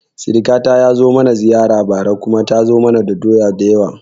Sirkata ya zo mana ziyara bara kuma ta kawo mana doya da yawa